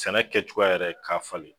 Sɛnɛ kɛ cogoya yɛrɛ k'a falen.